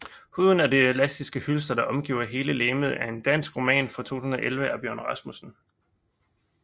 Huden er det elastiske hylster der omgiver hele legemet er en dansk roman fra 2011 af Bjørn Rasmussen